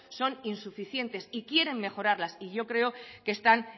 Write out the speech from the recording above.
son insuficientes y quieren mejorarlas y yo creo que están